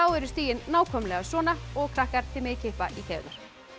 eru stigin nákvæmlega svona og krakkar þið megið kippa í keðjurnar